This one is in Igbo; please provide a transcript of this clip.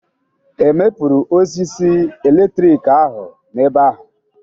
Ewepụrụ osisi eletrik ahụ n'ebe ahụ?